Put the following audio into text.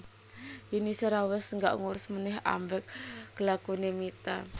Yuni Shara wes gak ngurus maneh ambek kelakuane Mita